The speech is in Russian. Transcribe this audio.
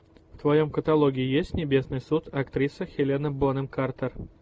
в твоем каталоге есть небесный суд актриса хелена бонем картер